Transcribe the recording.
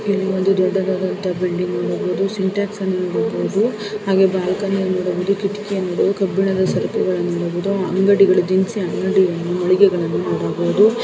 ಇಲ್ಲಿ ಒಂದು ದೊಡ್ಡದಾದ ಬಿಲ್ಡಿಂಗ್ ಅನ್ನು ನೋಡಬಹುದು ಸಿಂಟೆಕ್ಸ್ ಅನ್ನು ನೋಡಬಹುದು ಹಾಗೆ ಬಾಲ್ಕನಿಯನ್ನು ನೋಡಬಹುದು ಕಿಟಕಿಯನ್ನು ನೋಡಬಹುದುಕಬ್ಬಿಣದ ಸರ್ತು ಗಳನ್ನು ನೋಡಬಹುದು ಅಂಗಡಿಗಳು ದಿನಸಿ ಅಂಗಡಿಗಳು ಮಳಿಗೆಗಳನ್ನು ನೋಡಬಹುದು.